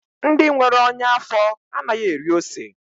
Ndị nwere ọnya afọ anaghị eri ose.